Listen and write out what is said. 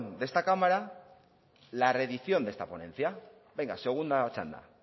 de esta cámara la reedición de esta ponencia venga segunda txanda